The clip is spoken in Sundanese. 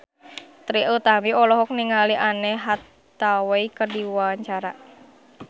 Trie Utami olohok ningali Anne Hathaway keur diwawancara